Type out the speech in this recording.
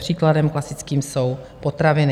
Příkladem klasickým jsou potraviny.